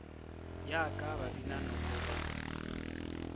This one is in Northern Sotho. ya ka babina noko ba